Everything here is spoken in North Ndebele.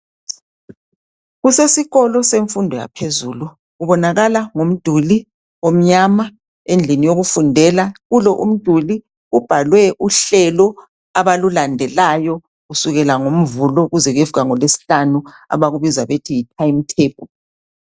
Kusesikolo semfundo yaphezulu kubonakala ngomduli omnyama endlini yokufundela kulo umduli kubhalwe uhlelo abalulandelayo kusukela ngoMvulo kuze kuyefika ngolweSihlanu abakubiza ngokuthi yitimetable.